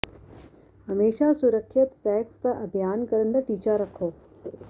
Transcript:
ਹਮੇਸ਼ਾ ਸੁਰੱਖਿਅਤ ਸੈਕਸ ਦਾ ਅਭਿਆਸ ਕਰਨ ਦਾ ਟੀਚਾ ਰੱਖੋ